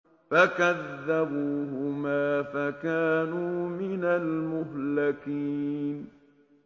فَكَذَّبُوهُمَا فَكَانُوا مِنَ الْمُهْلَكِينَ